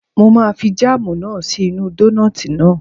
Mo máa fi jáàmù náà sí inú dónààtì náà